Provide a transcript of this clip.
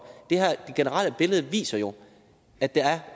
det generelle billede viser jo at der er